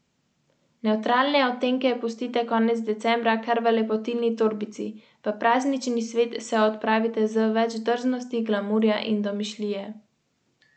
Pri odstranitvi sovladajoče glavne veje je potrebno odrezati čim bliže veje, ki bo ostala, vendar ne smemo poškodovati skorjinega grebena.